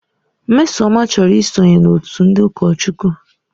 Mmesoma chọrọ ị sonye n'otu ndị ụkọchukwu.